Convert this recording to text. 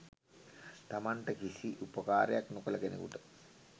තමන්ට කිසි උපකාරයක් නොකළ කෙනකුට